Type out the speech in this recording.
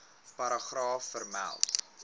paragraaf vermeld